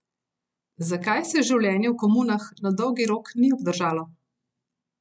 Zakaj se življenje v komunah na dolgi rok ni obdržalo?